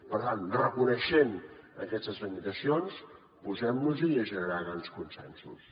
per tant reconeixent aquestes limitacions posem nos hi a generar grans consensos